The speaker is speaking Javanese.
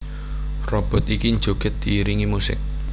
Robot iki njogèd diiringi musik